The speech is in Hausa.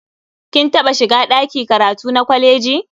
Kin taɓa shiga ɗaki karatu na kwaleji?